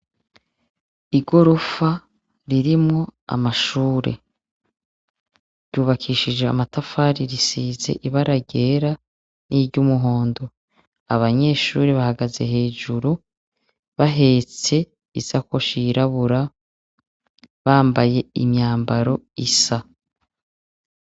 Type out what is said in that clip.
Igorofa ririmwo amashure, ryubakishije amatafari risize ibara ryera niryumohondo, abanyeshure bahagaze hejuru bahetse isakoshi yirabura bambaye imyambaro isa.